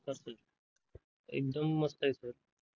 नमस्कार एकदम मस्त आहे sir